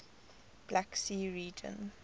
black sea region